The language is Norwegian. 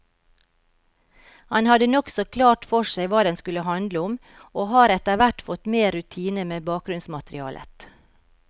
Han hadde nokså klart for seg hva den skulle handle om, og har etterhvert fått mer rutine med bakgrunnsmaterialet.